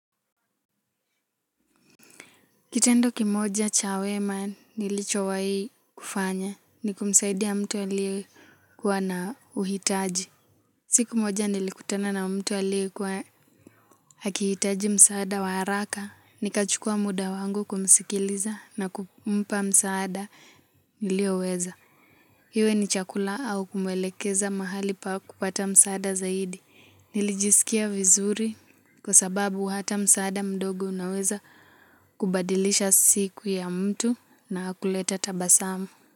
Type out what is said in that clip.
Kitendo kimoja cha wema nilichowahi kufanya ni kumsaidia mtu aliyekuwa na uhitaji. Siku moja nilikutana na mtu ya aliyekuwa akihitaji msaada wa haraka. Nikachukua muda wangu kumsikiliza na kumpa msaada nilioweza. Iwe ni chakula au kumwelekeza mahali pa kupata msaada zaidi. Nilijiskia vizuri kwa sababu hata msaada mdogo unaweza kubadilisha siku ya mtu na kuleta tabasamu.